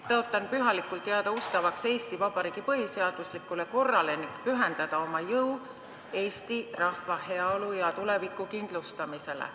Tõotan pühalikult jääda ustavaks Eesti Vabariigi põhiseaduslikule korrale ning pühendada oma jõu Eesti rahva heaolu ja tuleviku kindlustamisele.